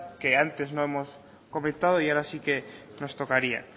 que antes no hemos comentado y ahora sí que nos tocaría